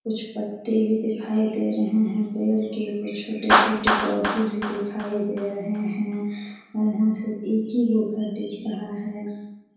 कुछ पत्ते भी दिखाई दे रहे है। पेड़ के कुछ छोटे-छोटे पौधे भी दिखाई दे रहे है और यहाँ से एक ही वो घर दिख रहा है।